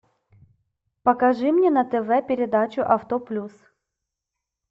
покажи мне на тв передачу авто плюс